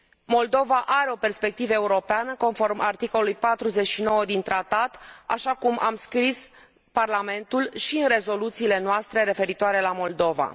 Moldova are o perspectivă europeană, conform articolului 49 din tratat, așa cum a scris și Parlamentul în rezoluțiile sale referitoare la Moldova.